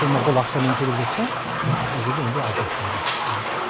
қолма қол ақшамен төлеп жатса ол жерде онда алты жүз теңге